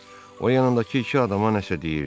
O yanındakı iki adama nəsə deyirdi.